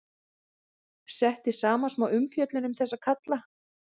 Setti saman smá umfjöllun um þessa kalla.